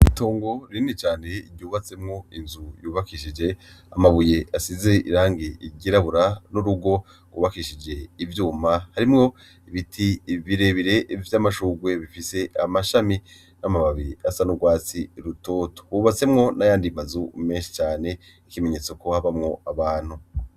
Itongo rinini cane ryubatsemwo inzu yubakishije amabuye asize irangi ryirabura, n'urugo rwubakishije ivyuma harimwo ibiti birebire bifise vy'amashurwe bifise amashami , n'amababi asa n'urwatsi rutoto . Rwubatsemwo n'ayandi mazu menshi cane , ikimenyetso ko habamwo abantu.